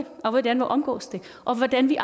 og hvordan vi omgås det og hvordan vi